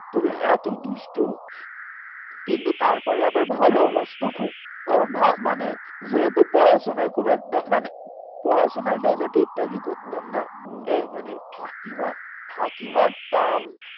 তুমি এতো দুষ্টু কিন্তু তার পরে আবার ভালো ব্যাস্ত খুব ও ভা মানে যেহেতু পড়াশোনায় খুব একটা মানে পড়াশোনাটা তো ঠিক থাকি করতাম না এ মানে ফাঁকি মা ফাঁকি মারতাম